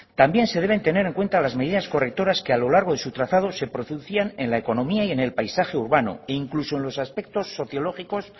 también se deben tener en cuenta las medidas correctoras que a lo largo de su trazado de producían en la economía y en el paisaje urbano e incluso en los aspectos sociológicos